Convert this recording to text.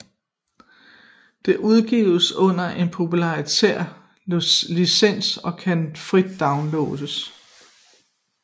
Det udgives under en proprietær licens og kan frit downloades